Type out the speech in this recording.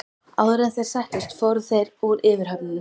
Áður en þeir settust fóru þeir úr yfirhöfnunum.